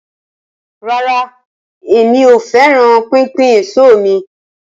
Rara, Emi ko fẹran pinpin eso mi.